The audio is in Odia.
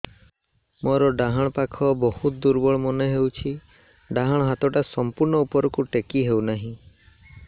ମୋର ଡାହାଣ ପାଖ ବହୁତ ଦୁର୍ବଳ ମନେ ହେଉଛି ଡାହାଣ ହାତଟା ସମ୍ପୂର୍ଣ ଉପରକୁ ଟେକି ହେଉନାହିଁ